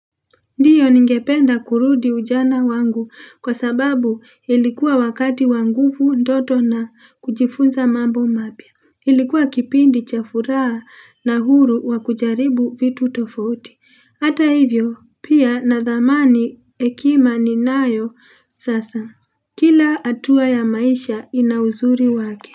Ndiyo, ningependa kurudi ujana wangu, kwa sababu ilikuwa wakati wa nguvu ndoto na kujifunza mambo mapya. Ilikuwa kipindi cha furaha na uhuru wa kujaribu vitu tofauti. Hata hivyo pia nadhamani hekima ninayo sasa. Kila hatua ya maisha ina uzuri wake.